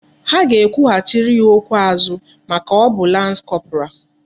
Ha ga ekwu hachiri ya okwu azu maka o bu lance corporal